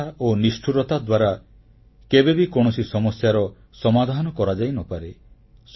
ହିଂସା ଓ ନିଷ୍ଠୁରତା ଦ୍ୱାରା କେବେବି କୌଣସି ସମସ୍ୟାର ସମାଧାନ କରାଯାଇନପାରେ